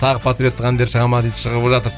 тағы патриоттық әндер шығады ма дейді шығып жатыр